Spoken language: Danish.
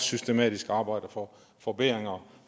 systematisk arbejder for forbedringer